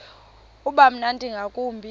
uba mnandi ngakumbi